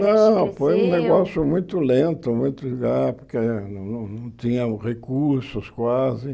Não, foi um negócio muito lento muito, porque não tínham recursos quase.